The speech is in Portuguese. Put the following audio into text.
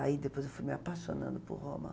Aí depois eu fui me apaixonando por Roma.